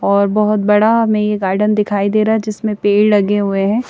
और बहोत बड़ा में ये गार्डन दिखाई दे रहा है जिसमें पेड़ लगे हुए हैं।